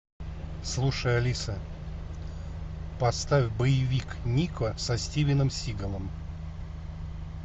слушай алиса поставь боевик нико со стивеном сигалом